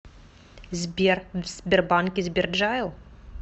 сбер в сбербанке сберджайл